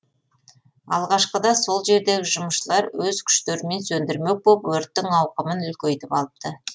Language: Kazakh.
алғашқыда сол жердегі жұмысшылар өз күштерімен сөндірмек боп өрттің ауқымын үлкейтіп алыпты